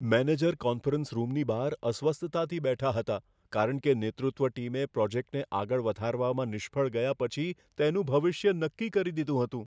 Manager conference રૂમની બહાર અસ્વસ્થતાથી બેઠા હતા કારણ કે નેતૃત્વ ટીમે પ્રોજેક્ટને આગળ વધારવામાં નિષ્ફળ ગયા પછી તેનું ભવિષ્ય નક્કી કરી દીધું હતું.